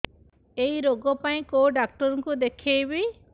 ଏଇ ରୋଗ ପାଇଁ କଉ ଡ଼ାକ୍ତର ଙ୍କୁ ଦେଖେଇବି